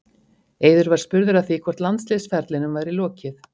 Eiður var spurður að því hvort landsliðsferlinum væri lokið?